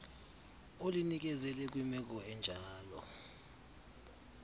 ulinikezele kwimeko enjalo